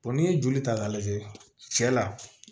n'i ye joli ta k'a lajɛ cɛ la